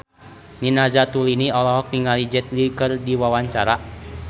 Nina Zatulini olohok ningali Jet Li keur diwawancara